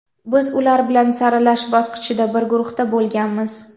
Biz ular bilan saralash bosqichida bir guruhda bo‘lganmiz.